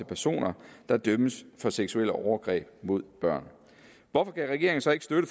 personer der dømmes for seksuelle overgreb mod børn hvorfor kan regeringen så ikke støtte